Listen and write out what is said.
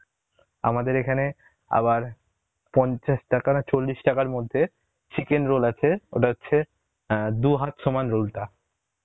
আমাদের এখানে আবার পঞ্চাশ টাকা না চল্লিশ টাকার মধ্যে, chicken roll আছে ওটা হচ্ছে অ্যাঁ দু হাত সমান roll টা